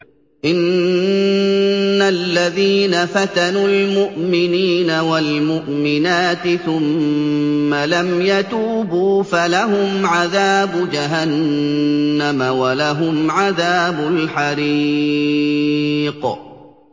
إِنَّ الَّذِينَ فَتَنُوا الْمُؤْمِنِينَ وَالْمُؤْمِنَاتِ ثُمَّ لَمْ يَتُوبُوا فَلَهُمْ عَذَابُ جَهَنَّمَ وَلَهُمْ عَذَابُ الْحَرِيقِ